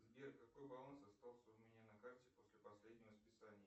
сбер какой баланс остался у меня на карте после последнего списания